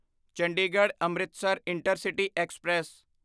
Chandigarh Amritsar intercity express